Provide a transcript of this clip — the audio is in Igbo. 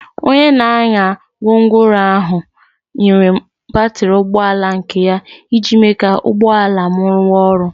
Onye na-anya gwongworo ahụ nyere m batrị ụgbọ ala nke ya iji mee ka ụgbọ ala m ruwa oru.